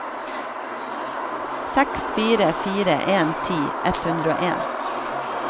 seks fire fire en ti ett hundre og en